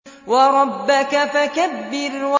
وَرَبَّكَ فَكَبِّرْ